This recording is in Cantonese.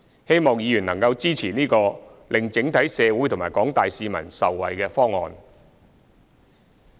希望議員能支持這個令整體社會和廣大市民受惠的方案。